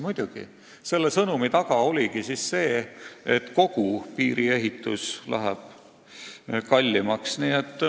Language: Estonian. Muidugi, selle sõnumi taga ongi tõsiasi, et kogu piiri ehitamine läheb kallimaks.